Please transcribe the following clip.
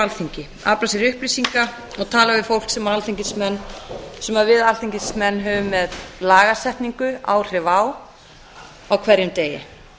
alþingi afla sér upplýsinga og tala við fólk sem við alþingismenn höfum með lagasetningu áhrif á á hverjum degi